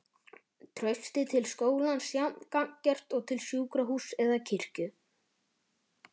Traustið til skólans jafn gagngert og til sjúkrahúss eða kirkju.